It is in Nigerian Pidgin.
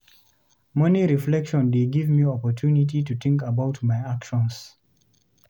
Morning reflection dey give me opportunity to think about my actions.